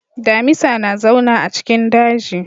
Damisa na zauna a cikin daji.